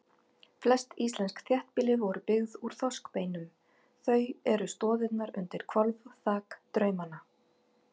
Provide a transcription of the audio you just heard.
Flest íslensk þéttbýli voru byggð úr þorskbeinum, þau eru stoðirnar undir hvolfþak draumanna.